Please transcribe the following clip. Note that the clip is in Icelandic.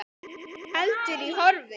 Hún heldur í horfi.